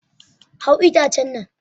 Hau itacen nan!